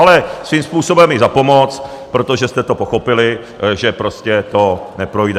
Ale svým způsobem i za pomoc, protože jste to pochopili, že prostě to neprojde.